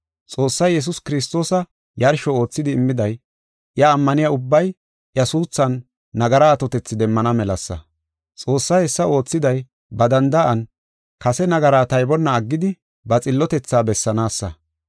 Xoossay Yesuus Kiristoosa yarsho oothidi immiday, iya ammaniya ubbay iya suuthan nagara atotethi demmana melasa. Xoossay hessa oothiday ba danda7an kase nagaraa taybonna aggidi, ba xillotethaa bessanaasa.